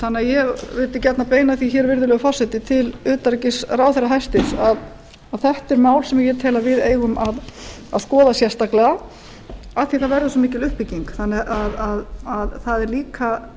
þannig að ég vildi gjarnan beina því hér virðulegur forseti til utanríkisráðherra hæstvirtur að þetta er mál sem ég tel að við verðum að skoða sérstaklega af því það verður svo mikil uppbygging þannig að það er líka